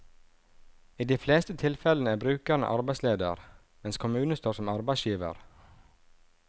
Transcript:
I de fleste tilfellene er brukeren arbeidsleder, mens kommunen står som arbeidsgiver.